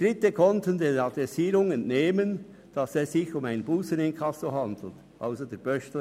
Dritte – mit anderen Worten der Postbeamte – konnten der Adressierung entnehmen, dass es sich um ein Busseninkasso handelt.